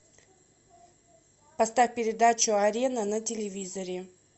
поставь передачу арена на телевизоре